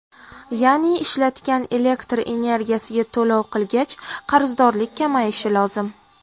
Ya’ni ishlatgan elektr energiyasiga to‘lov qilgach qarzdorlik kamayishi lozim.